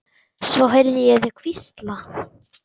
Svo heyrði ég þau hvísla.